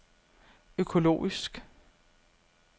økologisk